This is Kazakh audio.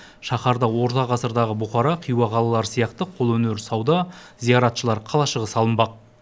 шаһарда орта ғасырдағы бұқара хиуа қалалары сияқты қолөнер сауда зияратшылар қалашығы салынбақ